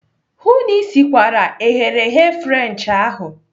Hụụ na Ị sikwara eghereghe French ahụ!